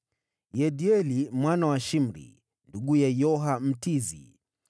Yediaeli mwana wa Shimri, nduguye Yoha Mtizi,